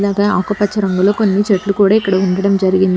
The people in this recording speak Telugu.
ఒక ఆకుపచ్చ రంగులో కొన్ని చెట్లు కూడా ఇక్కడ ఉండడం జరిగింది.